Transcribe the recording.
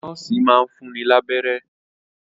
Nọ́ọ̀sì máa ń fún ni lábẹ́rẹ́